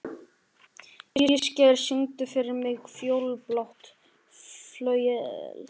Ísgeir, syngdu fyrir mig „Fjólublátt flauel“.